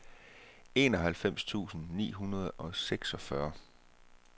enoghalvfems tusind ni hundrede og seksogfyrre